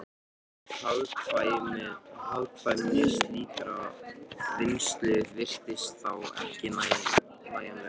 Hagkvæmni slíkrar vinnslu virtist þá ekki nægjanleg.